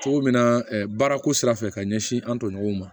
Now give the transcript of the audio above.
Cogo min na baarako sira fɛ ka ɲɛsin an tɔɲɔgɔnw ma